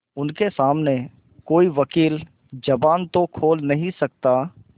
उनके सामने कोई वकील जबान तो खोल नहीं सकता